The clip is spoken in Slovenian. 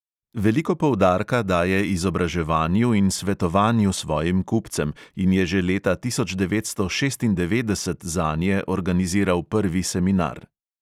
Veliko poudarka daje izobraževanju in svetovanju svojim kupcem in je že leta tisoč devetsto šestindevetdeset zanje organiziral prvi seminar.